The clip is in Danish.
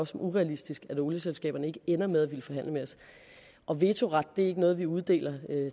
som urealistisk at olieselskaberne ikke ender med at ville forhandle med os og vetoret er ikke noget vi uddeler